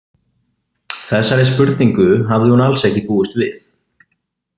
Þessari spurningu hafði hún alls ekki búist við.